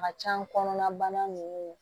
A ka can kɔnɔna bana nunnu